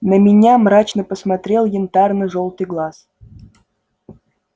на меня мрачно посмотрел янтарно-жёлтый глаз